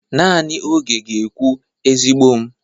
Nanị oge ga-ekwu, ezigbo m.